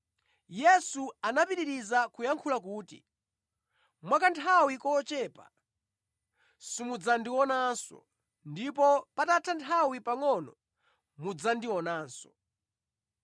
Yesu anapitiriza kuyankhula kuti, “Mwa kanthawi kochepa, simudzandionanso, ndipo patatha nthawi pangʼono mudzandionanso.”